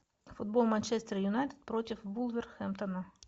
футбол манчестер юнайтед против вулверхэмптона